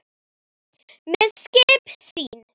með skip sín